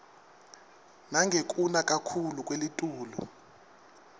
nangekuna kakhuclu kwelitulu